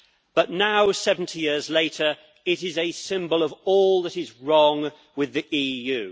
But now, 70 years later, it is a symbol of all that is wrong with the EU.